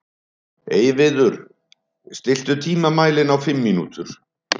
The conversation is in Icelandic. Freyviður, stilltu tímamælinn á fimm mínútur.